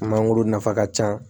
Mangoro nafa ka ca